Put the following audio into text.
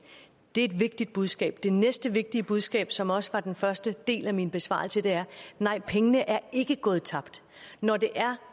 et vigtigt budskab det næste vigtige budskab som også var den første del af min besvarelse er nej pengene er ikke gået tabt når det er